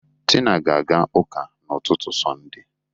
Tina ga-aga ụka n'ụtụtụ Sọnde.